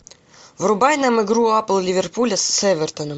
врубай нам игру апл ливерпуля с эвертоном